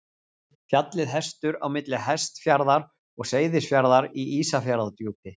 Fjallið Hestur á milli Hestfjarðar og Seyðisfjarðar í Ísafjarðardjúpi.